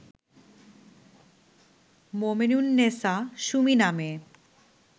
মোমেনুন্নেছা সুমি নামে